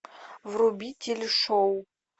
вруби телешоу